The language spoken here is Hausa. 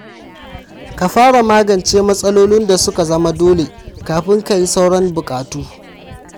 Ka fara magance matsalolin da su ka zama dole kafin ka yi sauran buƙatu.